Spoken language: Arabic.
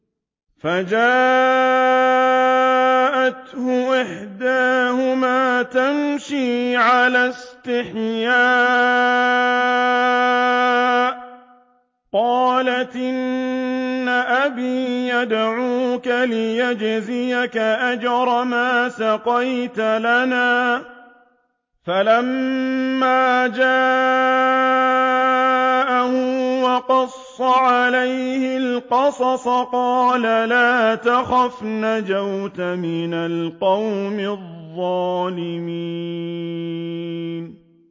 فَجَاءَتْهُ إِحْدَاهُمَا تَمْشِي عَلَى اسْتِحْيَاءٍ قَالَتْ إِنَّ أَبِي يَدْعُوكَ لِيَجْزِيَكَ أَجْرَ مَا سَقَيْتَ لَنَا ۚ فَلَمَّا جَاءَهُ وَقَصَّ عَلَيْهِ الْقَصَصَ قَالَ لَا تَخَفْ ۖ نَجَوْتَ مِنَ الْقَوْمِ الظَّالِمِينَ